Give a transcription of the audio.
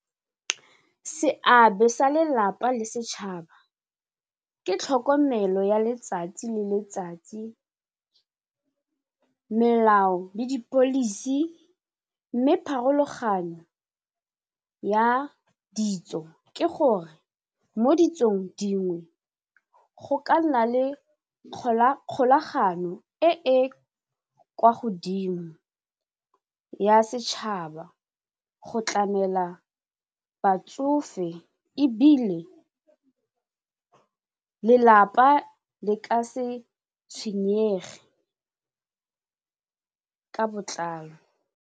Seabe sa lelapa le setšhaba ke tlhokomelo ya letsatsi le letsatsi melao le di-policy mme pharologanyo ya ditso ke gore mo ditsong dingwe go ka nna le kgolagano e e kwa godimo ya setšhaba go tlamela batsofe ebile lelapa le ka se tshwenyege ka botlalo.